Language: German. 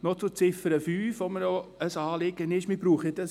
Noch zur Ziffer 5, die mir ebenfalls ein Anliegen ist.